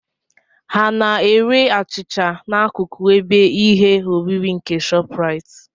Ha n'ere achịcha n'akụkụ ebe ihe oriri nke ShopRite?